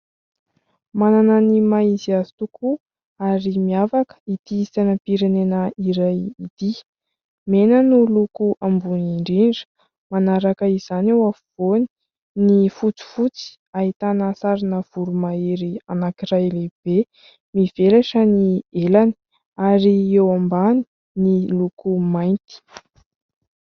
Manana ny maha izy azy tokoa ary miavaka ity sainam-pirenana iray ity. Mena no loko ambony indrindra, manaraka izany eo afovoany ny fotsifotsy ahitana sarina voromahery anankiray lehibe mivelatra ny elany, ary eo ambany ny loko mainty.